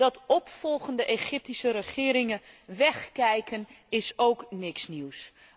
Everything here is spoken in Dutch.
Dat opvolgende Egyptische regeringen wegkijken, is ook niks nieuws.